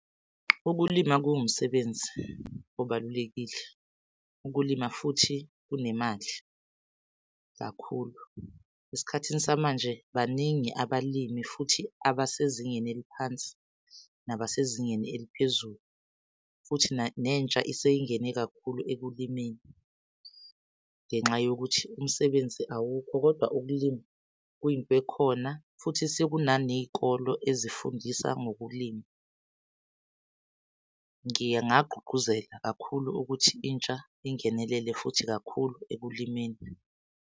Ukulima kuwumsebenzi obalulekile, ukulima futhi kunemali kakhulu. Esikhathini samanje baningi abalimi futhi abasezingeni eliphansi nabasezingeni eliphezulu, futhi nentsha iseyingene kakhulu ekulimeni ngenxa yokuthi umsebenzi awukho, kodwa ukulima kuyinto ekhona futhi sekunane y'kole ezifundisa ngokulima. Ngingagqugquzela kakhulu ukuthi intsha ingenelele futhi kakhulu ekulimeni.